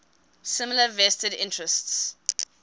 similar vested interests